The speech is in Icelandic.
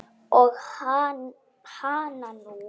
Og hananú!